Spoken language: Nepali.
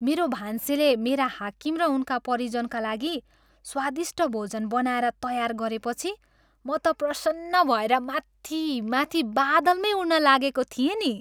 मेरो भान्सेले मेरा हाकिम र उनका परिजनका लागि स्वादिष्ट भोजन बनाएर तयार गरेपछि म त प्रसन्न भएर माथि माथि बादलमै उड्न लागेको थिएँ नि।